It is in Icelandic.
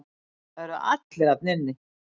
Það eru allir þarna inni.